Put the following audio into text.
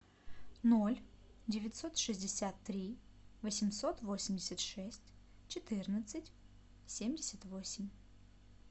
ноль девятьсот шестьдесят три восемьсот восемьдесят шесть четырнадцать семьдесят восемь